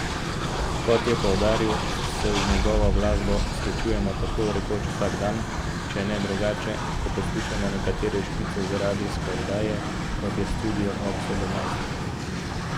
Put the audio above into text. Kot je poudaril, se z njegovo glasbo srečujemo tako rekoč vsak dan, če ne drugače, ko poslušamo nekatere špice za radijske oddaje, kot je Studio ob sedemnajstih.